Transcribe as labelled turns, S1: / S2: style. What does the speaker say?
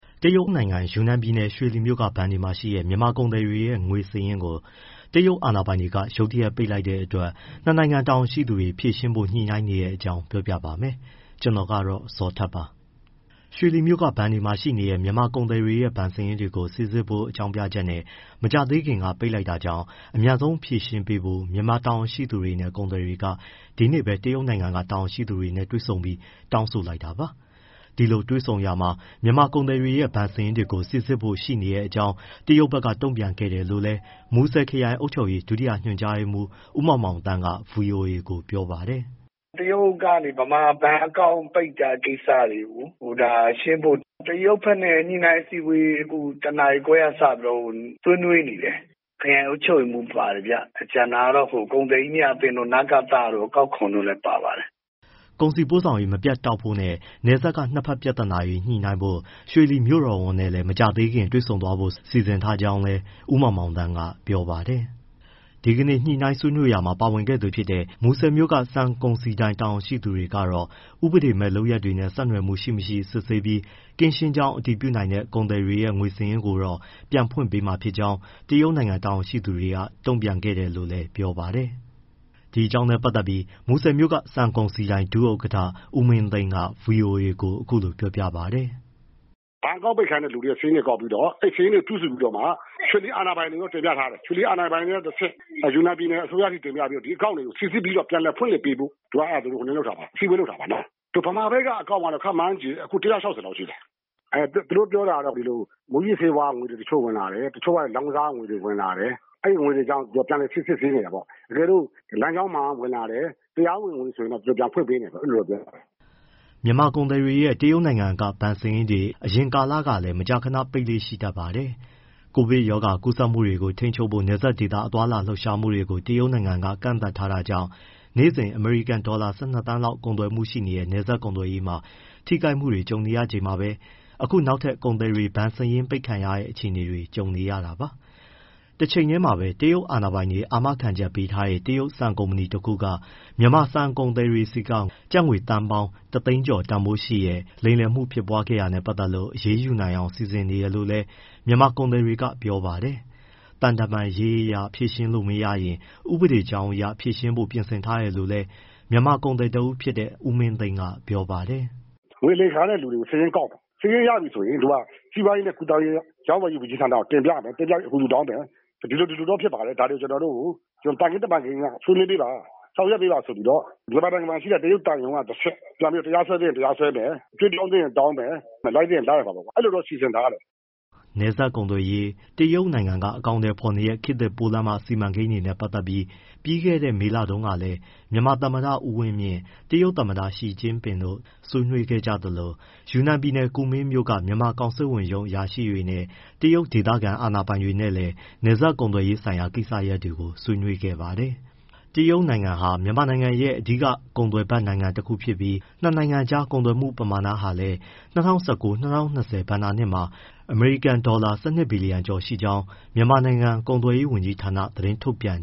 S1: တရုတ်နိုင်ငံ ယူနန်ပြည်နယ်၊ ရွှေလီမြို့က ဘဏ်တွေမှာရှိတဲ့ မြန်မာကုန်သည်တွေရဲ့ ငွေစာရင်းတွေကို တရုတ်အာဏာပိုင်တွေ ရုတ်တရက် ပိတ်လိုက်တဲ့အတွက် ၂ နိုင်ငံတာဝန်ရှိသူတွေ ဖြေရှင်းဖို့ ညှိနှိုင်းနေတဲ့အကြောင်း ပြောပြပါမယ်။ ဗွီအိုအေမြန်မာပိုင်း သတင်းထောက် ကိုဇော်ထက်က သတင်းပေးပို့ထားပါတယ်။ ရွှေလီမြို့က ဘဏ်တွေမှာရှိနေတဲ့ မြန်မာကုန်သည်တွေရဲ့ ဘဏ်စာရင်းတွေကို စိစစ်ဖို့ဆိုတဲ့ အကြောင်းပြချက်နဲ့ မကြာသေးခင်ကပဲ ပိတ်လိုက်တာကြောင့် အမြန်ဆုံးဖြေရှင်းပေးဖို့ မြန်မာတာဝန်ရှိသူတွေနဲ့ ကုန်သည်တွေ ဒီနေ့ပဲ တရုတ်နိုင်ငံက တာဝန်ရှိသူတွေနဲ့ တွေ့ဆုံပြီး တောင်းဆိုလိုက်တာပါ။ ဒီလိုတွေ့ဆုံရာမှာ မြန်မာကုန်သည်တွေရဲ့ ဘဏ်စာရင်းတွေကို စိစစ်ဖို့ရှိနေတဲ့အကြောင်း တရုတ်ဘက်က တုံ့ပြန်ခဲ့တယ်လို့လည်း မူဆယ်ခရိုင် အုပ်ချုပ်ရေး ဒုတိယညွှန်ကြားရေးမှူး ဦးမောင်မောင်သန်းက ဗွီအိုအေကို ပြောပါတယ်။
S2: “တရုတ်ကနေ မြန်မာဘဏ်အကောင့် ပိတ်တဲ့ကိစ္စတွေ ဒါ ရှင်းဖို့ တရုတ်ဘက်နဲ့ ညှိနှိုင်းအစည်းအဝေး ၁ နာရီခွဲကစပြီးတော့ ဆွေးနွေးနေတယ်။ ခရိုင်အုပ်ချုပ်ရေးမှူး ပါတယ်ဗျ၊ ကျန်တာကတော့ ကုန်သည်ကြီးများအသင်းတို့ နကသတို့၊ အကောက်ခွန်တို့လည်း ပါပါတယ်။
S1: ” ကုန်စည်ပို့ဆောင်ရေး မပြတ်တောက်ဖို့နဲ့ နယ်စပ်က နှစ်ဘက်ပြဿနာတွေ ညှိနှိုင်းဖို့ ရွှေလီမြို့တော်ဝန်နဲ့ မကြာခင်တွေ့ဆုံ ဆွေးနွေးဖို့ စီစဉ်ထားကြောင်းလည်း ဦးမောင်မောင်သန်းက ပြောပါတယ်။ ဒီကနေ့ ညှိနှိုင်းဆွေးနွေးရာမှာ ပါဝင်ခဲ့သူ တဦးဖြစ်တဲ့ မူဆယ်မြို့က ဆန်ကုန်စည်ဒိုင် ဒုဥက္ကဋ္ဌ ဦးမင်းသိန်းကတော့ ဥပဒေမဲ့ လုပ်ရပ်တွေနဲ့ ဆက်နွယ်မှု ရှိ၊ မရှိ စစ်ဆေးပြီး ကင်းရှင်းကြောင်း အတည်ပြုနိုင်တဲ့ ကုန်သည်တွေရဲ့ ငွေစာရင်းတွေကိုတော့ ပြန်ဖွင့်ပေးမှာ ဖြစ်ကြောင်း တရုတ်နိုင်ငံ တာဝန်ရှိသူတွေက တုံ့ပြန်ခဲ့တယ်လို့လည်း ဗွီအိုအေကို ပြောပါတယ်။
S2: “ဘဏ်အကောင့် ပိတ်ခံရတဲ့သူတွေရဲ့ စာရင်းတွေပေါင်းပြီး အဲဒီစာရင်းတွေ စုစုပြီးတော့မှ ရွှေလီအာဏာပိုင်တွေကို တင်ပြထားတယ်။ ရွှေလီအာဏာပိုင်တွေက တဆင့် ယူနန်ပြည်နယ် အစိုးရထိ တင်ပြပြီးတော့ ဒီအကောင့်တွေကို စိစစ်ပြီး ပြန်လည်ဖွင့်လှစ်ပေးဖို့ အစည်းအဝေး လုပ်တာပါ။ ဗမာဘက်က အကောင့်ကတော့ ခန့်မှန်းခြေ အခု ၁၆၀ လောက်ရှိတယ်။ သူတို့ပြောတာကတော့ ဒီလို မူးယစ်ဆေးဝါးကငွေတွေ ဝင်လာတယ်။ တချို့ကလည်း လောင်းကစားကငွေတွေ ဝင်လာတယ်။ အဲဒီငွေတွေကြောင့် ပြန်စစ်ဆေးချင်တယ်ပေါ့။ တကယ်လို့ လမ်းကြောင်းမှန်က ဝင်လာတယ်။ တရားဝင်တယ်ဆိုရင် ပြန်ဖွင့်ပေးမယ်.. အဲဒီလိုပြောတာပေါ့။
S1: ” မြန်မာကုန်သည်တွေရဲ့ တရုတ်နိုင်ငံက ဘဏ်စာရင်းတွေကို အရင်ကလည်း မကြာခဏ ပိတ်လေ့ရှိတတ်ပါတယ်။ ကိုဗစ်ကပ်ရောဂါ ကူးစက်မှုတွေကို ထိန်းချုပ်ဖို့ နယ်စပ်ဒေသ သွားလာလှုပ်ရှားမှုတွေကို တရုတ်နိုင်ငံက ကန့်သတ်ထားတာကြောင့် နေ့စဉ် အမေရိကန်ဒေါ်လာ ၁၂ သန်းလောက် ကုန်သွယ်မှုပမာဏရှိတဲ့ နယ်စပ်ကုန်သွယ်ရေးမှာ ထိခိုက်မှုတွေ ကြုံနေရချိန်မှာပဲ အခုနောက်ထပ် ကုန်သည်တွေ ဘဏ်စာရင်းပိတ်ခံရတဲ့ အခြေအနေနဲ့ ကြုံနေရတာပါ။ တချိန်တည်းမှာပဲ တရုတ်အာဏာပိုင်တွေ အာမခံပေးထားတဲ့ တရုတ်ဆန်ကုမ္ပဏီတခုက မြန်မာဆန်ကုန်သည်တွေဆီက ကျပ်ငွေသန်းပေါင်း ၁၀၀,၀၀၀ ကျော်တန်ဖိုးရှိတဲ့ လိမ်လည်မှု ဖြစ်ပွားခဲတာနဲ့ ပတ်သက်လို့ အရေးယူနိုင်အောင် စီစဉ်နေတယ်လို့လည်း မြန်မာကုန်သည်တွေက ပြောပါတယ်။ သံတမန်ရေးအရ ဖြေရှင်းလို့ မရရင် ဥပဒေကြောင်းအရပါ ဖြေရှင်းဖို့ ပြင်ဆင်ထားတယ်လို့လည်း မြန်မာကုန်သည်တဦးဖြစ်တဲ့ ဦးမင်းသိန်းက ပြောပါတယ်
S2: ။ “ငွေလိမ်ခံရတဲ့သူတွေကို စာရင်းကောက်မယ်။ စာရင်းရပြီဆိုရင် စီးပွားရေးနဲ့ ကူးသန်းရောင်းဝယ်ရေး ဝန်ကြီးဌာနကို တင်ပြပြီး အကူအညီတောင်းမယ်။ ဒီလို ဒီလိုတော့ ဖြစ်ပါတယ် ဒါတွေကျနော်တို့ကို သံခင်းတမန်ခင်းအရ ဆွေးနွေးပေးပါ။ ဆောင်ရွက်ပေးပါဆိုပြီး မြန်မာနိုင်ငံ တရုတ်သံရုံးကတဆင့် တရားစွဲသင့် တရားစွဲမယ် အကြွေးတောင်းသင့်ရင် တောင်းမယ်။ လိုက်သင့်ရင် လိုက်ရမှာပေါ့။ အဲလိုတော့ စီစဉ်ထားတယ်။
S1: ” နယ်စပ်ကုန်သွယ်ရေး၊ တရုတ်နိုင်ငံက အကောင်အထည်ဖော်နေတဲ့ ခေတ်သစ်ပိုးလမ်းမ စီမံကိန်းတွေနဲ့ ပတ်သက်လို့ ပြီးခဲ့တဲ့ မေလထဲမှာတုန်းကလည်း မြန်မာသမ္မတ ဦးဝင်းမြင့်၊ တရုတ်သမ္မတ ရှီကျင့်ပင်တို့ ဆွေးနွေးခဲ့ကြသလို၊ ယူနန်ပြည်နယ် ကူမင်းမြို့က မြန်မာကောင်စစ်ဝန်ရုံး အရာရှိတွေနဲ့ တရုတ်ဒေသခံ အာဏာပိုင်တွေလည်း နယ်စပ်ကုန်သွယ်ရေးဆိုင်ရာ ကိစ္စရပ်တွေကို ဆွေးနွေးခဲ့ဖူးပါတယ်။ တရုတ်နိုင်ငံဟာ မြန်မာနိုင်ငံရဲ့အဓိက ကုန်သွယ်ဖက်တခုဖြစ်ပြီး နှစ်နိုင်ငံကြား ကုန်သွယ်မှုပမာဏဟာလည်း ၂၀၁၉ - ၂၀၂၀ ဘဏ္ဍာနှစ်မှာ အမေရိကန်ဒေါ်လာ ၁၂ ဘီလီယံ (၁၂၁၂၆. ၂၇၈ သန်း) ကျော်ရှိခဲ့ကြောင်း မြန်မာနိုင်ငံ ကုန်သွယ်ရေးဝန်ကြီးဌာနက သတင်းထုတ်ပြန်